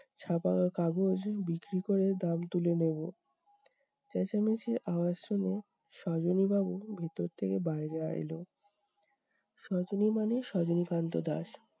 ছাপা কাগজ বিক্রি করে দাম তুলে নেবো। চেঁচামেচির আওয়াজ শুনে সজনী বাবু ভেতর থেকে বাইরে আ এলো। সজনী মানে সজনীকান্ত দাস।